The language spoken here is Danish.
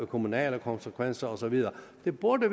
kommunale konsekvenser og så videre der burde